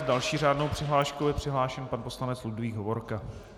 S další řádnou přihláškou je přihlášen pan poslanec Ludvík Hovorka.